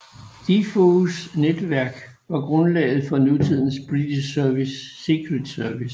Defoes netværk var grundlaget for nutidens British Secret Service